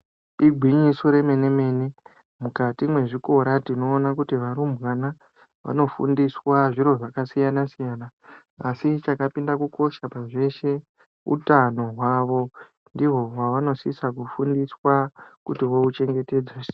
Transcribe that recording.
Igwinyiso remene mene mukati mwezvikora tinoona kuti varumbwana vanofundiswa zviro zvakasiyana siyana asi chakapinda kukosha pazveshe utano hwavo ndihwo hwavanosisa kufundiswa kuti vouchengetedza sei.